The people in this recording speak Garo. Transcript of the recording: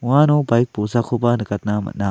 uano baik bolsakoba nikatna man·a.